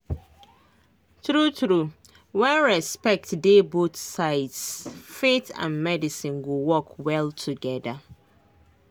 true true when respect dey both sides faith and medicine go work well together.